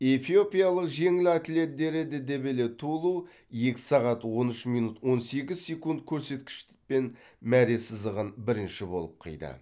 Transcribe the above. эфиопиялық жеңіл атлет дереде дебеле тулу екі сағат он үш минут он сегіз секунд көрсеткішпен мәре сызығын бірінші болып қиды